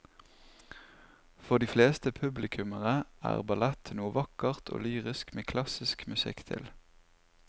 For de fleste publikummere er ballett noe vakkert og lyrisk med klassisk musikk til.